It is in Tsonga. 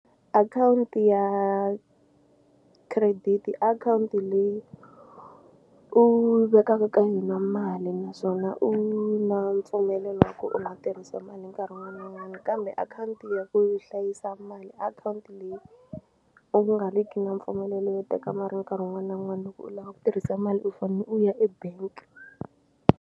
Akhawunti ya credit akhawunti leyi u vekaka ka yona mali naswona u na mpfumelelo wa ku u nga tirhisa mali nkarhi wun'wana na wun'wana kambe u akhawunti ya ku hlayisa mali akhawunti leyi u nga ri ki na mpfumelelo yo teka mali nkarhi wun'wana na wun'wana loko u lava ku tirhisa mali u fane u ya ebank.